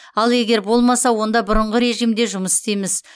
ал егер болмаса онда бұрынғы режимде жұмыс істейміз